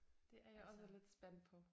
Det er jeg også lidt spændt på